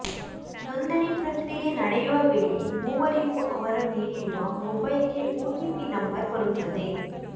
ನೋಂದಣಿ ಪ್ರಕ್ರಿಯೆ ನಡೆ ಯುವ ವೇಳೆ ಮೂವರಿಗೂ ಅವರು ನೀಡಿರುವ ಮೊಬೈಲ್ಗೆ ಓಟಿಪಿ ನಂಬರ್ ಬರುತ್ತದೆ